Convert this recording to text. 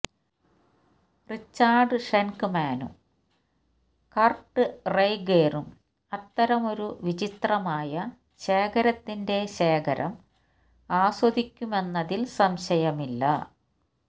Richard ഷെൻക്മാനും കർട്ട് റെയ്ഗേരും അത്തരമൊരു വിചിത്രമായ ശേഖരത്തിന്റെ ശേഖരം ആസ്വദിക്കുമെന്നതിൽ സംശയമില്ല